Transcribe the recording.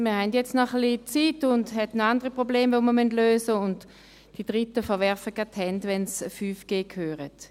Wir haben jetzt noch etwas Zeit, und wir haben noch andere Probleme, die wir lösen müssen, und die Dritten verwerfen gleich die Hände, wenn sie 5G hören.